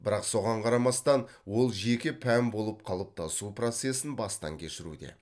бірақ соған қарамастан ол жеке пән болып қалыптасу процесін бастан кешіруде